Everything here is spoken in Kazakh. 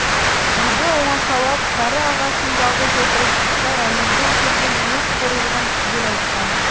үйді оңашалап кәрі ағасын жалғыз отырып дүтбай әмірден көрген өз қорлығын түгел айтқан